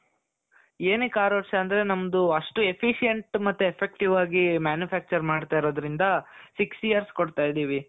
ಏನಕ್ಕೆ ಆರು ವರ್ಷ ಅಂದ್ರೆ ನಮ್ದು ಅಷ್ಟು efficiency ಮತ್ತು effective ಆಗಿ manufacture ಮಾಡ್ತಾ ಇರೋದ್ರಿಂದ six years ಕೊಡ್ತಾ ಇದ್ದೀವಿ.